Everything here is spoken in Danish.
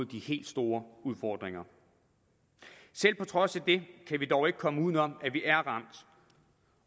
de helt store udfordringer selv på trods af det kan vi dog ikke komme udenom at vi er ramt